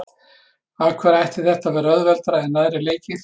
Af hverju ætti þetta að vera auðveldara en aðrir leikir?